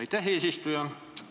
Aitäh, eesistuja!